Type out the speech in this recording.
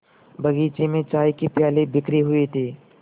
बगीचे में चाय के प्याले बिखरे हुए थे